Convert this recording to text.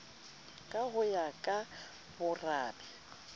ka ho ya ka borabe